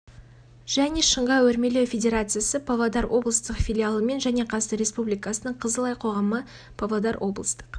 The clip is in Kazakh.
және шынға өрмелеу федерациясы павлодар облыстық филиалымен және қазақстан республикасының қызыл ай қоғамы павлодар облыстық